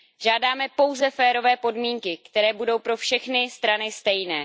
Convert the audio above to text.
Žádáme pouze férové podmínky, které budou pro všechny strany stejné.